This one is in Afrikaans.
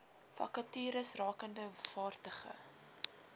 vakatures rakende vaardige